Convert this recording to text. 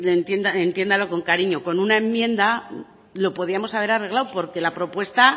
entiéndalo con cariño con una enmienda lo podíamos haber arreglado porque la propuesta